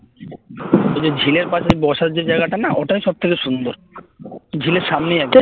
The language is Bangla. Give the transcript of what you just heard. ওই যে ঝিলের পাশে বসার যে জায়গাটা না ওটাই হচ্ছে সব থেকে বেশি সুন্দর ঝিলের সামনেই